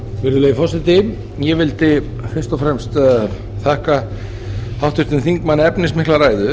virðulegi forseti ég vildi fyrst og fremst þakka háttvirtum þingmanni efnismikla ræðu